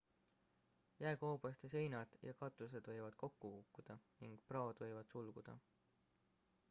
jääkoobaste seinad ja katused võivad kokku kukkuda ning praod võivad sulguda